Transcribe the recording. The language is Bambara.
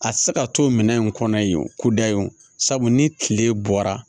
A tɛ se ka to minɛn in kɔnɔ yen o ko dayi o sabu ni tile bɔra